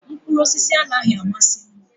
Mkpụrụ osisi anaghị amasị m